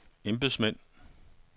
embedsmænd